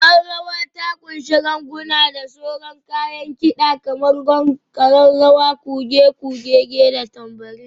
Ƙwaƙwalwa ta ƙunshi ganguna da sauran kayan kida kamar gong, ƙararrawa, kuge, kuge-gege, da tambourine.